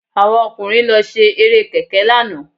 Àwọn ọkùnrin ló ṣe Eré kẹ̀kẹ́ lánàá